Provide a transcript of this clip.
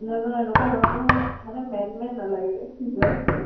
নাজানো এনেকুৱা লʼৰাবোৰ মোৰ মানে man man নালাগে type